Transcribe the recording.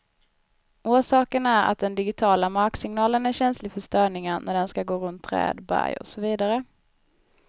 Orsaken är att den digitiala marksignalen är känslig för störningar när den skall gå runt träd, berg och så vidare.